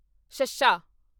ਸ਼ੱਸ਼ਾ